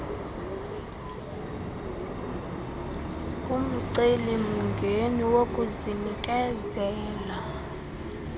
umceli mngeni wokunikezela